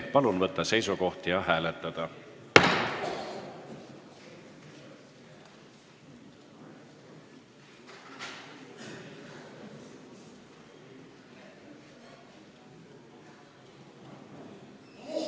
Palun võtta seisukoht ja hääletada!